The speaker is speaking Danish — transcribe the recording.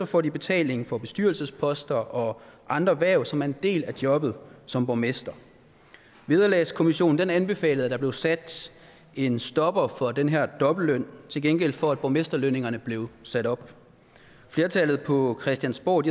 får de betaling for bestyrelsesposter og andre hverv som er en del af jobbet som borgmester vederlagskommissionen anbefalede at der blev sat en stopper for den her dobbeltløn til gengæld for at borgmesterlønningerne blev sat op flertallet på christiansborg